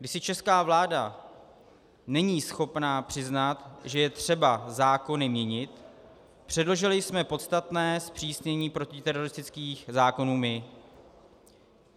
Když si česká vláda není schopna přiznat, že je třeba zákony měnit, předložili jsme podstatné zpřísnění protiteroristických zákonů my.